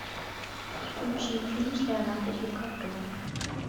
включи фильм с леонардо ди каприо